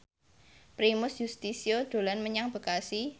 Primus Yustisio dolan menyang Bekasi